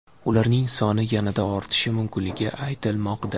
Ularning soni yanada ortishi mumkinligi aytilmoqda.